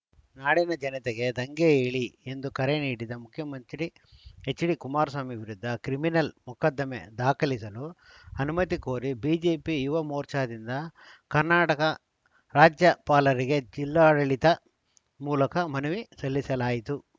ನಾಡಿನ ಜನತೆಗೆ ದಂಗೆ ಏಳಿ ಎಂದು ಕರೆ ನೀಡಿದ ಮುಖ್ಯಮಂತ್ರಿ ಎಚ್‌ಡಿ ಕುಮಾರಸ್ವಾಮಿ ವಿರುದ್ಧ ಕ್ರಿಮಿನಲ್‌ ಮೊಕದ್ದಮೆ ದಾಖಲಿಸಲು ಅನುಮತಿ ಕೋರಿ ಬಿಜೆಪಿ ಯುವ ಮೋರ್ಚಾದಿಂದ ಕರ್ನಾಟಕ ರಾಜ್ಯಪಾಲರಿಗೆ ಜಿಲ್ಲಾಡಳಿತ ಮೂಲಕ ಮನವಿ ಸಲ್ಲಿಸಲಾಯಿತು